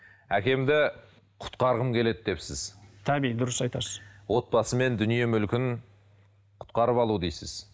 әкемді құтқарғым келеді депсіз таби дұрыс айтасыз отбасы мен дүние мүлкін құтқарып алу дейсіз